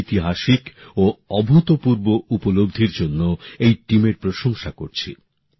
আমি এই ঐতিহাসিক ও অভূতপূর্ব সাফল্যর জন্য এই দলের প্রশংসা করছি